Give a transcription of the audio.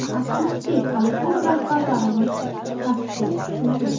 Afsuski hali ko‘p rahbarlarimiz pastga tushmagan.